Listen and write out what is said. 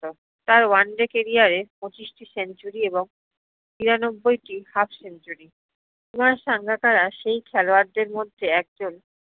তার one day career এ প্চিশ্টি century এবং নিরানব্বইটি half century কুমার সাঙ্গাকারা সেই খেলোয়ারদের মধ্যে একজন